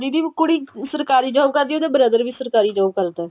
ਦੀਦੀ ਕੁੜੀ ਸਰਕਾਰੀ job ਕਰਦੀ ਏ ਉਹਦਾ brother ਵੀ ਸਰਕਾਰੀ job ਕਰਦਾ